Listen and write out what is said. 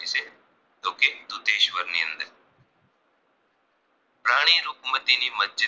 રુકમતી ની મસ્જિદ